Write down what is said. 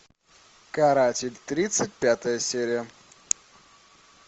каратель тридцать пятая серия